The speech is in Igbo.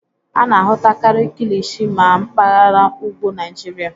A na-ahụtakari kilichi na mpagara ugwu Naịjịrịa.